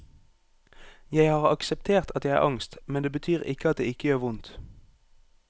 Jeg har akseptert at jeg har angst, men det betyr ikke at det ikke gjør vondt.